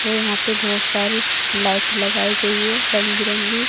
और यहां पे बहोत सारी लाइट लगाई गयी है रंग बिरंगी।